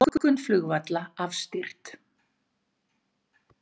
Lokun flugvalla afstýrt